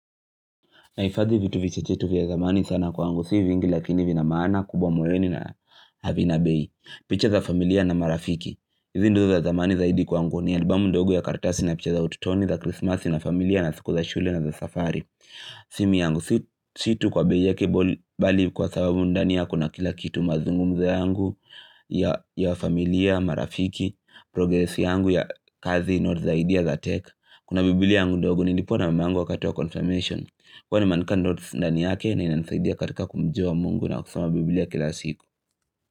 Nahifadhi vitu vichache tu vya zamani sana kwangu, si vingi lakini vina maana, kubwa moyoni na havina bei. Picha za familia na marafiki. Hizi ndizo za zamani zaidi kwangu ni albamu ndogu ya kartasi na picha za ututoni za Christmas na familia na siku za shule na za safari. Simu yangu, si tu kwa bei yake bali kwa sababu ndani ya kuna kila kitu mazungumzo yangu ya familia, marafiki, progresi yangu ya kazi, noti za idea za tech. Kuna bibili yangu ndogo nilipewa na mam yangu wakati wa confirmation. Kwani nimeandika notes ndani yake na inanisaidia katika kumjua mungu na kusoma biblia kila siku.